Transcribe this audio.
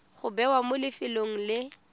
go bewa mo lefelong le